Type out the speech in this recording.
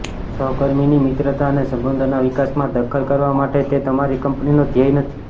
સહકર્મીની મિત્રતા અને સંબંધોના વિકાસમાં દખલ કરવા માટે તે તમારી કંપનીનો ધ્યેય નથી